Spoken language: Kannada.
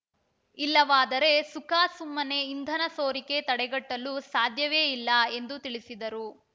ಇಲ್ಲವಾದರೆ ಸುಖಾಸುಮ್ಮನೆ ಇಂಧನ ಸೋರಿಕೆ ತಡೆಗಟ್ಟಲು ಸಾಧ್ಯವೇ ಇಲ್ಲ ಎಂದು ತಿಳಿಸಿದರು